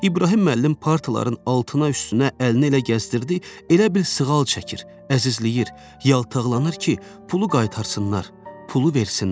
İbrahim müəllim partaların altına, üstünə əlini elə gəzdirdi, elə bil sığal çəkir, əzizləyir, yaltaqlanır ki, pulu qaytarsınlar, pulu versinlər.